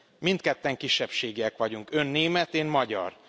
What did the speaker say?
Mindketten kisebbségiek vagyunk, Ön német, én magyar.